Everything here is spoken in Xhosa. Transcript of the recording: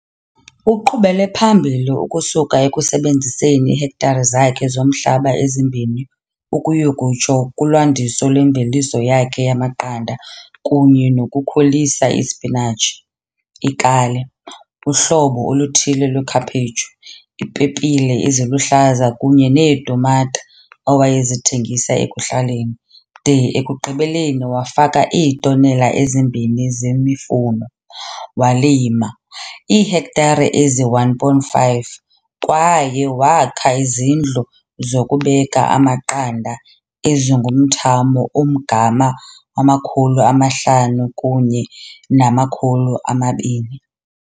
Uqhubele phambili ukusuka ekusebenziseni iihektare zakhe zomhlaba ezimbini ukuyokutsho kulwandiso lwemveliso yakhe yamaqanda kunye nokukhulisa isipinatshi, ikale, uhlobo oluthile lwekhaphetshu, iipepile eziluhlaza kunye neetumata, awayezithengisa ekhuhlaleni, de ekugqibeleni wafaka iitonela ezimbini zemifuno, walima iihektare eziyi-1.5 kwaye wakha izindlu zokubeka amaqanda ezingumthamo ongama-5 000 kunye nama-2 000.